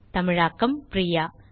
தமிழாக்கம் பிரியா